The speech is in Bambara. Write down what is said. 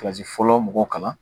kilasi fɔlɔ mɔgɔw kalan